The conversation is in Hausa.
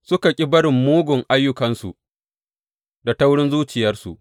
Suka ƙi barin mugun ayyukansu da taurin zuciyarsu.